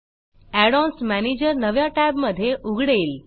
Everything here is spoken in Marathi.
add ओएनएस मॅनेजर नव्या टॅबमधे उघडेल